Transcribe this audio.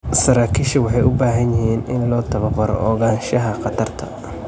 Saraakiisha waxay u baahan yihiin in loo tababaro ogaanshaha khatarta.